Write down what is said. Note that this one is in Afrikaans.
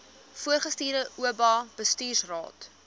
voorgestelde oba bestuursraad